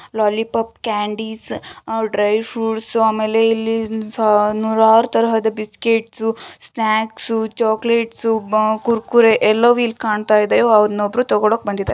Lollipop candies dry fruits ಆಮೇಲೆ ಇಲ್ಲಿ ನೂರಾರು ತರಹದ ಬಿಸ್ಕೆಟ್ಸ್ ಸ್ನಾಕ್ಸ್ ಚಾಕ್ಲೇಟ್ಸ್ ಕುರ್ಕುರಿ ಎಲ್ಲಾವು ಇಲ್ಲಿ ಕಾಣ್ತಾ ಇದೆ ಅವನ್ನ ಒಬ್ಬರು ತಗೊಳ್ಳೋಕೆ ಬಂದಿದ್ದಾರೆ.